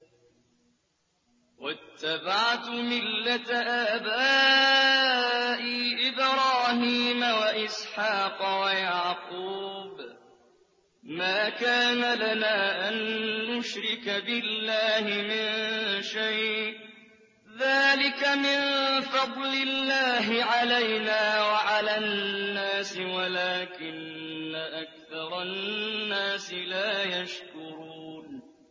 وَاتَّبَعْتُ مِلَّةَ آبَائِي إِبْرَاهِيمَ وَإِسْحَاقَ وَيَعْقُوبَ ۚ مَا كَانَ لَنَا أَن نُّشْرِكَ بِاللَّهِ مِن شَيْءٍ ۚ ذَٰلِكَ مِن فَضْلِ اللَّهِ عَلَيْنَا وَعَلَى النَّاسِ وَلَٰكِنَّ أَكْثَرَ النَّاسِ لَا يَشْكُرُونَ